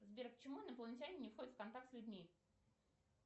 сбер почему инопланетяне не входят в контакт с людьми